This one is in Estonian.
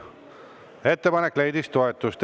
Ettepanek leidis toetust.